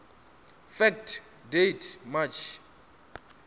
fact date march